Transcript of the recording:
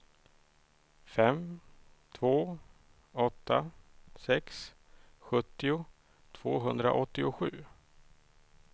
fem två åtta sex sjuttio tvåhundraåttiosju